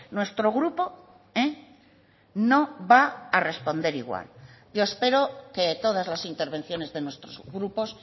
nuestro grupo no va a responder igual yo espero que todas las intervenciones de nuestros grupos